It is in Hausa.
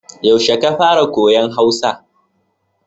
Yaushe ka fara koyon Hausa?